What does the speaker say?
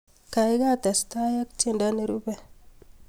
Kaikai testai ak tiendo nerube